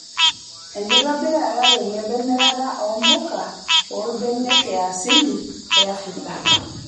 Enkitobirata tenebo emirata oo mpuka oolbenek yaasili e Afrika.